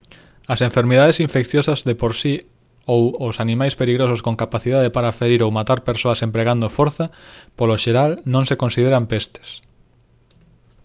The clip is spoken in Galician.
as enfermidades infecciosas de por si ou os animais perigosos con capacidade para ferir ou matar persoas empregando forza polo xeral non se consideran pestes